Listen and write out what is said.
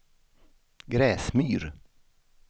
Gräsmyr